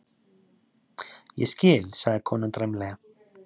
Ég skil, sagði konan dræmlega.